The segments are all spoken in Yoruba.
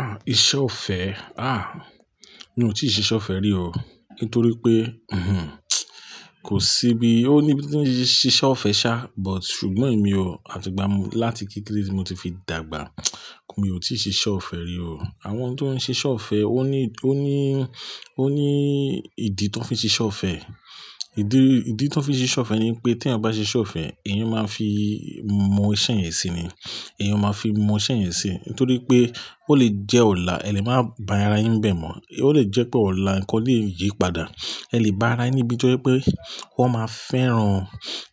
Ah, iṣẹ́ ọ̀fẹ́. Ah, mi ò tíì ṣe iṣẹ́ ọ̀fẹ́ rí o. Nítorí pé, hm, kò sí bi o ní bí i tí nṣe iṣẹ́ ọ̀fẹ́ ṣá, but ṣùgbọ́n èmi o, àti ìgbà láti kí kílíìsì mo ti fi dàgbà, mo ti ṣe iṣẹ́ ọ̀fẹ́ rí o. Àwọn tó ń ṣe iṣẹ́ ọ̀fẹ́ ó ní, ó ní, ó ní ìdí tó ń fi ṣe iṣẹ́ ọ̀fẹ́. Ìdí, ìdí tó ń fi ṣe iṣẹ́ ọ̀fẹ́ ni pé tí ẹ bá ṣe iṣẹ́ ọ̀fẹ́, èèyàn máa fi mọ iṣẹ́ yẹn sí ni. Ẹ̀yàn máa fi mọ iṣẹ́ yẹn sí. Nítorí pé ó lè jẹ́ ọ̀la, ẹ lè máa bá ara yín bẹ̀ mọ́. Ó lè jẹ́ pé ọ̀la nǹkan lè yípadà. Ẹ lè bá ara yín bíi pé wọ́n máa fẹ́ran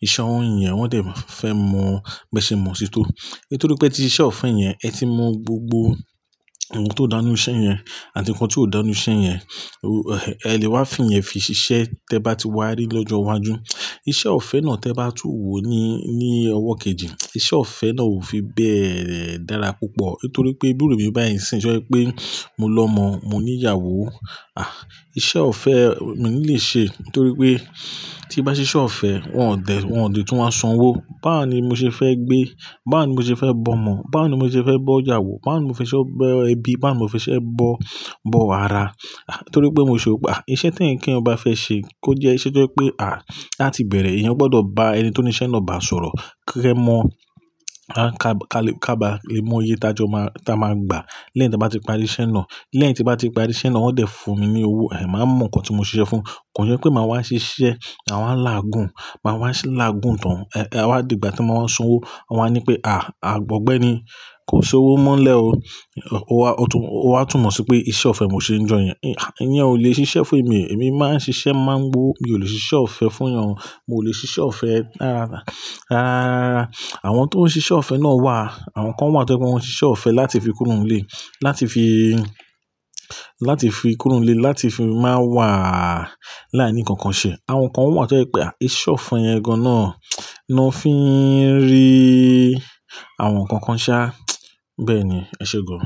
ìṣe òun yẹn, wọ́n dẹ̀ máa fẹ́ mọ̀, bá ṣe mọ̀ sí tó. Nítorí pé tí iṣẹ́ ọ̀fẹ́ yẹn ẹ ti mọ gbogbo ohun tó dáá ní iṣẹ́ yẹn àti nǹkan tí ò dáá ní iṣẹ́ yẹn, ẹ lè wá fún ìyẹn fi ṣe iṣẹ́ tí ẹ bá ti wá rí lọ́jọ́ iwájú. Iṣẹ́ ọ̀fẹ́ náà tí ẹ bá tún wò ní, ní ọwọ́ kejì, iṣẹ́ ọ̀fẹ́ náà ò fi bẹ́ẹ̀ dára púpọ̀. Nítorí pé bí ìrú mí bá ìsìn, ṣé jẹ́ pé mo lọ mọ, mo ní ìyàwó. Ah, iṣẹ́ ọ̀fẹ́ mi ò lè ṣe. Nítorí pé tí bá ṣe iṣẹ́ ọ̀fẹ́, wọ́n ò dẹ̀, wọ́n ò lè tún máa sanwó. Bá wó ni mo ṣe fẹ́ gbé, bá wó ni mo ṣe fẹ́ bọ́mọ, bá wó ni mo ṣe fẹ́ bọ́ ìyàwó, bá wó ni mo fẹ́ ṣe bọ́ ẹbí, bá wó ni mo fẹ́ ṣe bọ́, bọ́ ara. Nítorí pé mo ṣe ò pa. Iṣẹ́ tí ẹ̀yàn bá fẹ́ ṣe kó jẹ́ iṣẹ́ tí pé, à, láti bẹ̀rẹ̀, èèyàn gbọdọ̀ bá ẹni tó ní iṣẹ́ náà bá sọ̀rọ̀ kí ẹ mọ̀, ká ba lè mọ iye tájọ má, táa máa gbà lẹ́yìn tí a bá ti parí iṣẹ́ náà. Lẹ́yìn tí a bá ti parí iṣẹ́ náà, wọ́n dẹ̀ fún mi ní owó, ẹ má mọ nǹkan tí mo ṣe fún. Kò jẹ́ pé màá wá ṣe iṣẹ́, à wá làágùn, màá wá làágùn tán. Ẹ wa dìgbà tí wọ́n sanwó, wọ́n á ní pé, à, àìgbọ̀gbẹ́ ni. Kò sí owó mọ́lẹ̀ o. O wá, o wá túmọ̀ sí pé iṣẹ́ ọ̀fẹ́ mo ṣe ń jẹ́ yẹn. Ìyẹn ò lè ṣe iṣẹ́ fún èmi o. Èmi máa ń ṣe iṣẹ́ má ń gbó wó. Èmi ò lè ṣe iṣẹ́ ọ̀fẹ́ fún èèyàn. Mo ò lè ṣe iṣẹ́ ọ̀fẹ́. Ah, àwọn tó ń ṣe iṣẹ́ ọ̀fẹ́ náà wà. Àwọn kan wà tó jẹ́ pé wọ́n ṣe iṣẹ́ ọ̀fẹ́ láti fi kúrò nílé, láti fi, láti fi kúrò nílé, láti fi máa wà láìní kankan ṣe. Àwọn kan wà tó jẹ́ pé, à, iṣẹ́ ọ̀fẹ́ yẹn gan náà ni wọ́n fi ń rí àwọn nǹkan kan ṣá. Bẹ́ẹ̀ ni, ẹ ṣé gán.